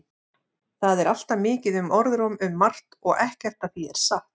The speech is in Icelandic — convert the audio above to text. Það er alltaf mikið um orðróm um margt og ekkert af því er satt.